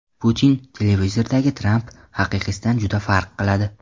Putin: Televizordagi Tramp haqiqiysidan juda farq qiladi.